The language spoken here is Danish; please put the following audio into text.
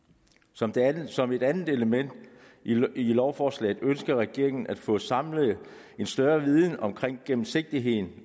som som et andet element i lovforslaget ønsker regeringen at få samlet en større viden omkring gennemsigtigheden